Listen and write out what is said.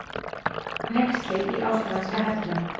Hneyksli í ástralska hernum